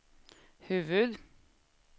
huvud